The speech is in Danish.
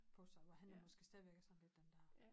På sig hvor han er måske stadigvæk er sådan lidt den dér